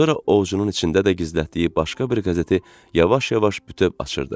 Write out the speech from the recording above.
Sonra ovcunun içində də gizlətdiyi başqa bir qəzeti yavaş-yavaş bütöv açırdı.